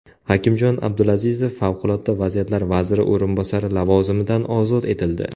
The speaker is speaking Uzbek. Hakimjon Abdulazizov Favqulodda vaziyatlar vaziri o‘rinbosari lavozimidan ozod etildi.